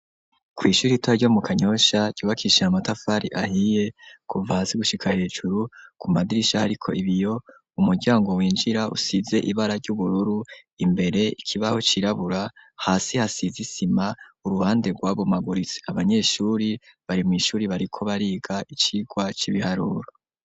Kw'ishuri rito ryo mu Kanyosha ryubakishije amatafari ahiye kuva hasi gushika hejuru ku madirisha ariko ibiyo, umuryango winjira usize ibara ry'ubururu, imbere ikibaho cirabura, hasi hasize isima uruhande rwabomaguritse, abanyeshuri bari mw'ishuri bariko bariga icigwa c'ibiharuro.